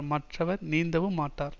மற்றவர் நீந்தவும் மாட்டார்